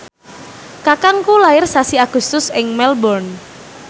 kakangku lair sasi Agustus ing Melbourne